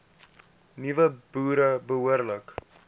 nuwe boere behoorlik